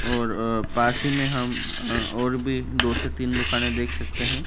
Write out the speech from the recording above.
और अ पास ही में हम और भी दो से तीन दुकानें देख सकते हैं।